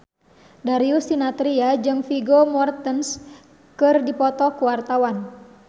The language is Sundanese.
Darius Sinathrya jeung Vigo Mortensen keur dipoto ku wartawan